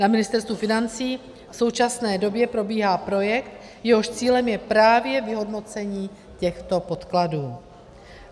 Na Ministerstvu financí v současné době probíhá projekt, jehož cílem je právě vyhodnocení těchto podkladů.